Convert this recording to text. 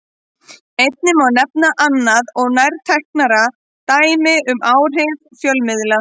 Einnig má nefna annað og nærtækara dæmi um áhrif fjölmiðla.